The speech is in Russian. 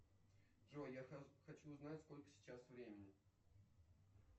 джой я хочу узнать сколько сейчас времени